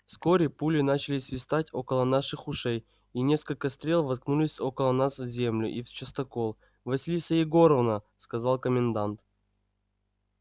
вскоре пули начали свистать около наших ушей и несколько стрел воткнулись около нас в землю и в частокол василиса егоровна сказал комендант